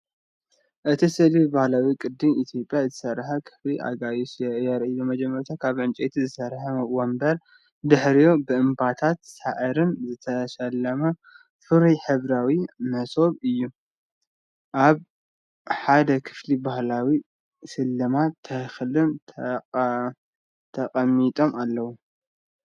እቲ ስእሊ ብባህላዊ ቅዲ ኢትዮጵያ ዝተሰርሐ ክፍሊ ኣጋይሽ የርኢ። መጀመርታ ካብ ዕንጨይቲ ዝተሰርሐ መንበር፡ ድሕሪኡ ብዕምባባታትን ሳዕርን ዝተሰለመ ፍሩይን ሕብራዊን መሶብ ኣሎ። ኣብ ሓደ ክፍሊ ባህላዊ ስልማት ተኽልን ተቐሚጦም ኣለዉ።